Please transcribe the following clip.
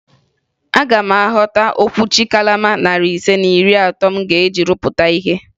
Aga m ahọta okwuchi kalama narị ise na iri atọ m ga-eji rụpụta ihe